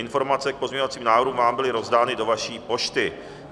Informace k pozměňovacím návrhům vám byly rozdány do vaší pošty.